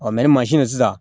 sisan